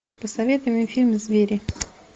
посоветуй мне фильм звери